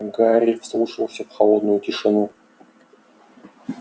гарри вслушивался в холодную тишину